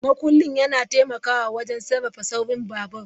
Makullin yana taimakawa wajen sarrafa saurin babur.